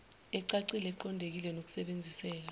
ecacile eqondile nesebenziseka